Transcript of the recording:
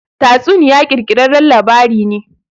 Tatsuniya ƙirƙirarren labari ne.